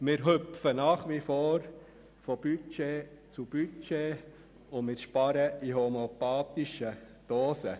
Wir hüpfen nach wie vor von Budget zu Budget und sparen in homöopathischen Dosen.